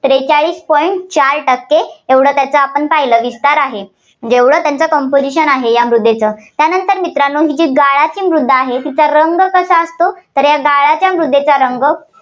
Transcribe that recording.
त्रेचाळीस point चार टक्के एवढं त्यांचा विस्तार आहे. जेवढं त्यांचं composition आहे, या मृदेचं. त्यानंतर मित्रांनो ही जी गाळाची मृदा आहे तिचा रंग कसा असतो तर गाळाच्या मृदेचा रंग